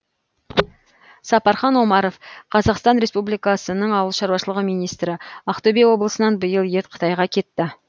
сапархан омаров қазақстан республикасының ауыл шаруашылығы министрі ақтөбе облысынан биыл ет қытайға кетті